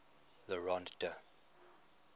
le rond d